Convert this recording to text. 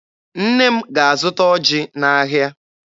Nne m ga-azụta ọjị n'ahịa.